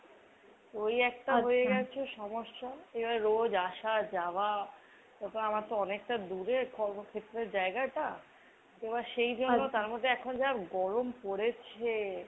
ওই একটা আছে সমস্যা। এবার রোজ আসা যাওয়া। তো অনেকটা দূরে কর্মক্ষেত্রের জায়গাটা। এবার সেই জন্যেই ,তার মধ্যে এখন যা গরম পড়েছে।